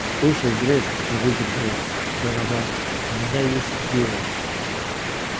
слушай грег не выдержал донован у меня есть идея